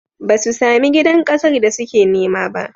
Ba su sami gidan ƙasar da suke nema ba.